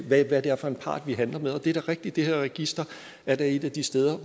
hvad det er for en part vi handler med og det er da rigtigt at det her register er et af de steder